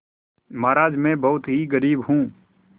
महाराज में बहुत ही गरीब हूँ